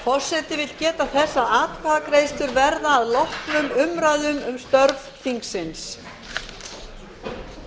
forseti vill geta þess að atkvæðagreiðslur verða að loknum umræðum um störf þingsins um